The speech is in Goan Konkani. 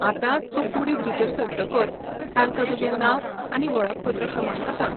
आतां, तूं कुडींत भितर सरतकच तांका तुजें नांव आनी वळखपत्र क्रमांक सांग.